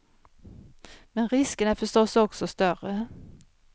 Men riskerna är förstås också större.